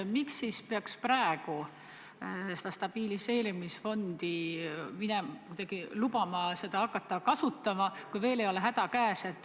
Miks peaks praegu andma loa hakata stabiliseerimisfondi kasutama, kui häda ei ole veel käes?